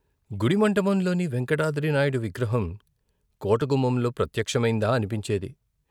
గుడి మంటపంలోని వేంకటాద్రినాయుడు విగ్రహం కోట గుమ్మంలో ప్రత్యక్షమైందా అనిపించేది.